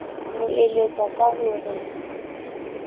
mo eletsa ka ho re